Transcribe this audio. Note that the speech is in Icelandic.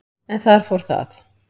en þar fór það.